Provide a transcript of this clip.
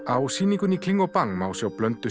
á sýningunni í kling og bang má sjá blöndu